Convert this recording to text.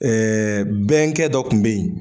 bɛnkɛ dɔ kun bɛ yen.